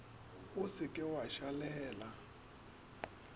o se ke wa šalela